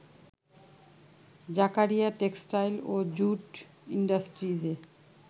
Zakaria textile ও jute ইন্ডাস্ট্রিজে